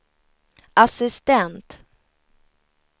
assistent